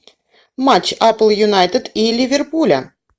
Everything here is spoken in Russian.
матч апл юнайтед и ливерпуля